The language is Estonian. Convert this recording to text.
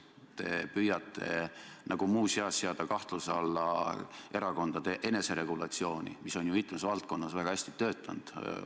Te püüate nagu muuseas seada kahtluse alla erakondade eneseregulatsiooni, mis on ju mitmes valdkonnas väga hästi töötanud.